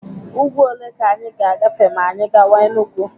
Úgwú ole ka anyị ga-agafe ma anyị gawa Enugu?